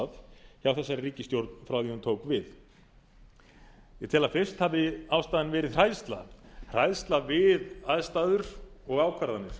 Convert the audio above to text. þessari ríkisstjórn frá því að hún tók við ég tel að fyrst hafi ástæðan verið hræðsla hræðsla við aðstæður og ákvarðanir